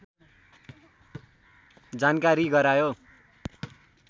जानकारी गरायो